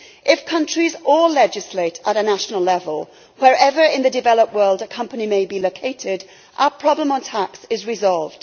If countries all legislate at a national level, wherever in the developed world a company may be located, our problem on tax is resolved.